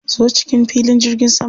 Zo cikin filin jirgin saman.